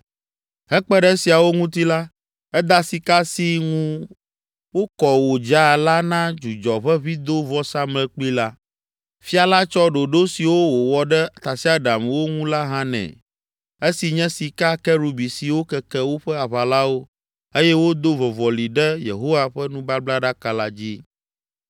Hekpe ɖe esiawo ŋuti la, eda sika si ŋu wokɔ wòdza la na dzudzɔʋeʋĩdovɔsamlekpui la. Fia la tsɔ ɖoɖo siwo wòwɔ ɖe tasiaɖamwo ŋu la hã nɛ, esi nye sika Kerubi siwo keke woƒe aʋalãwo eye wodo vɔvɔlĩ ɖe Yehowa ƒe nubablaɖaka la dzi.